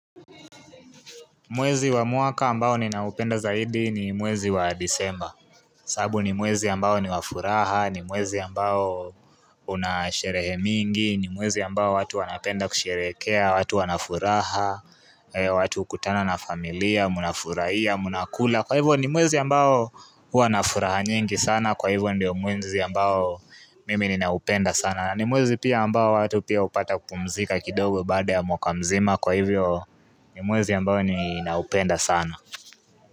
Mwezi wa muaka ambao ninaupenda zaidi ni mwezi wa disemba sabu ni mwezi ambao ni wafuraha, ni mwezi ambao unasherehe mingi ni mwezi ambao watu wanapenda kusherekea, watu wanafuraha watu hukutana na familia, munafurahia, munakula Kwa hivyo ni mwezi ambao hua na furaha nyingi sana Kwa hivyo ndio mwezi ambao mimi ninaupenda sana ni mwezi pia ambao watu pia upata kupumzika kidogo bada ya mwakamzima Kwa hivyo ni mwezi ambao ninaupenda sana.